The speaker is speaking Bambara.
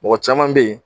Mɔgɔ caman bɛ yen